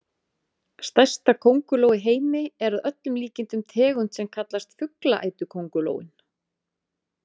Stærsta könguló í heimi er að öllum líkindum tegund sem kallast fuglaætuköngulóin.